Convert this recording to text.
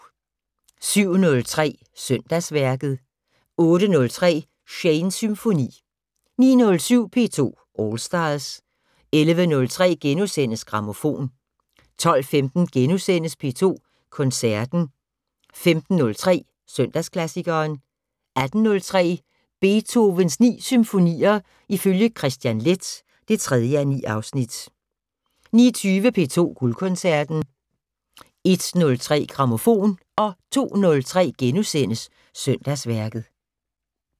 07:03: Søndagsværket 08:03: Shanes Symfoni 09:07: P2 All Stars 11:03: Grammofon * 12:15: P2 Koncerten * 15:03: Søndagsklassikeren 18:03: Beethovens 9 symfonier ifølge Kristian Leth (3:9) 19:20: P2 Guldkoncerten 01:03: Grammofon 02:03: Søndagsværket *